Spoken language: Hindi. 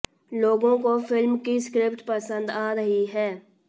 लोगों को फिल्म की स्क्रिप्ट पसंद आ रही है